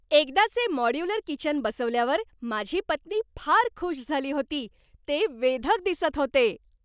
एकदाचे modular kitchen बसवल्यावर माझी पत्नी फार खुश झाली होती. ते वेधक दिसत होते!